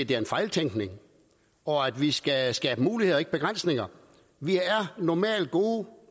det er en fejltænkning og at vi skal skabe muligheder og ikke begrænsninger vi er normalt gode